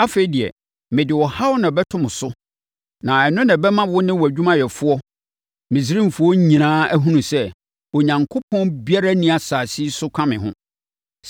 Afei deɛ, mede ɔhaw na ɛbɛto mo so na ɛno na ɛbɛma wo ne wʼadwumayɛfoɔ ne Misraimfoɔ nyinaa ahunu sɛ, Onyankopɔn biara nni asase yi so ka me ho.